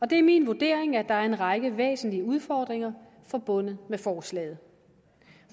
det er min vurdering at der er en række væsentlige udfordringer forbundet med forslaget